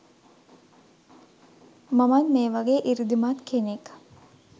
මමත් මේ වගේ සෘද්ධිමත් කෙනෙක්